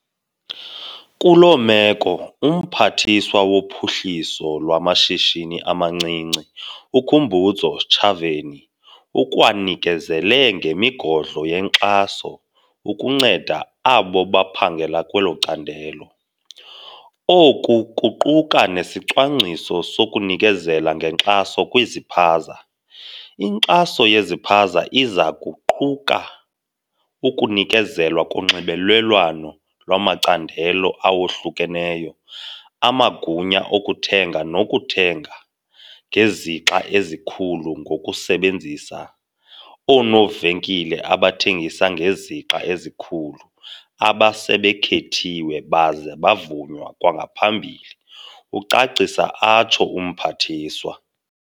Kulo meko, uMphathiswa woPhuhliso lwaMashishini amaNcinci uKhumbudzo Ntshavheni ukwanikezele ngemigodlo yenkxaso ukunceda abo baphangela kwelo candelo. Oku kuquka nesicwangciso sokunikezela ngenkxaso kwizipaza. "Inkxaso yezipaza iza kuquka ukunikezelwa konxibelelwano lwamacandelo awohlukeneyo, amagunya okuthenga nokuthenga ngezixa ezikhulu ngokusebenzisa oonovenkile abathengisa ngezixa ezikhulu abasebekhethiwe baze bavunywa kwangaphambili," ucacisa atsho uMphathiswa.